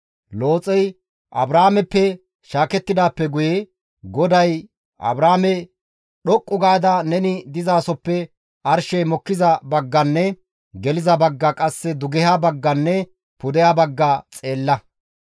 Looxey Abraameppe shaakettidaappe guye GODAY Abraame, «Dhoqqu gaada neni dizasoppe arshey mokkiza bagganne geliza bagga qasse dugeha bagganne pudeha bagga xeella.